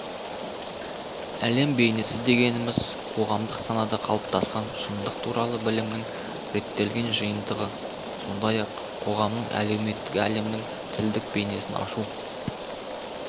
әлем бейнесі дегеніміз қоғамдық санада қалыптасқан шындық туралы білімнің реттелген жиынтығы сондай-ақ қоғамдық әлеуметтік әлемнің тілдік бейнесін ашу